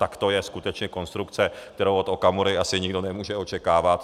Tak to je skutečně konstrukce, kterou od Okamury asi nikdo nemůže očekávat.